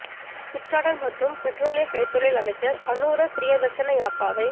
சுற்றாடல் மற்றும் பெற்றோலிய கைத்தொழில் அமைச்சர் அநுர பிரியதர்சன யாப்பாவை